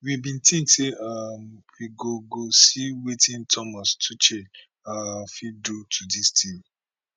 we bin tink say um we go go see wetin thomas tuchel um fit do to dis team